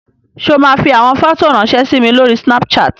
Ṣé o máa fi àwọn fọ́tò ráńṣẹ́ sí mi lórí Snapchat?